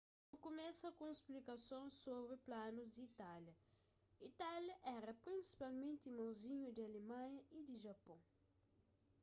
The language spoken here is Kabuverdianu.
nu kumesa ku un splikason sobri planus di itália itália éra prinsipalmenti irmonzinhu di alemanha y di japôn